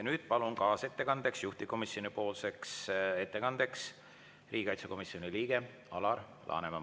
Nüüd palun kaasettekandeks, juhtivkomisjoni ettekandeks siia riigikaitsekomisjoni liikme Alar Lanemani.